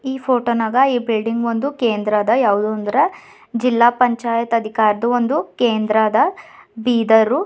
Photo ನಾಗ ಈ building ಒಂದು ಕೇಂದ್ರ ಅದ ಯಾವುದು ಅಂದ್ರೆ ಜಿಲ್ಲಾ ಪಂಚಾಯತ್ ಅಧಿಕಾರದ ಒಂದು ಕೇಂದ್ರ ಅದ ಬೀದರು.